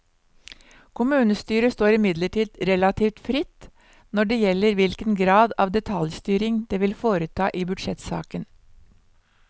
Kommunestyret står imidlertid relativt fritt når det gjelder hvilken grad av detaljstyring det vil foreta i budsjettsaken.